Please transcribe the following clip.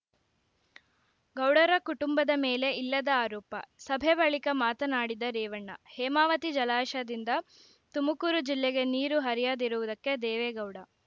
ಗೌಡರ ಕುಟುಂದ ಮೇಲೆ ಇಲ್ಲದ ಆರೋಪ ಸಭೆ ಬಳಿಕ ಮಾತನಾಡಿದ ರೇವಣ್ಣ ಹೇಮಾವತಿ ಜಲಾಶಯದಿಂದ ತುಮಕೂರು ಜಿಲ್ಲೆಗೆ ನೀರು ಹರಿಯದಿರುವುದಕ್ಕೆ ದೇವೇಗೌಡ